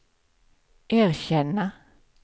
erkänna